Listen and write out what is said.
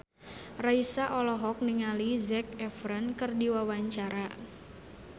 Raisa olohok ningali Zac Efron keur diwawancara